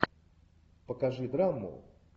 покажи драму